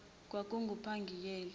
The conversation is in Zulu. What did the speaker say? kwakungupangiyeli